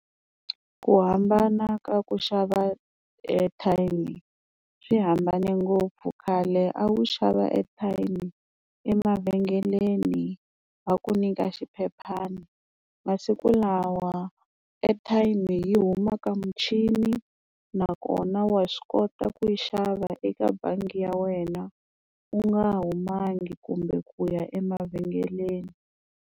Ku hambana ka ku xava airtime swi hambane ngopfu khale a wu xava airtime emavhengeleni va ku nyika xiphephana masiku lawa airtime yi huma ka muchini nakona wa swi kota ku yi xava eka bangi ya wena u nga humangi kumbe ku ya emavhengeleni.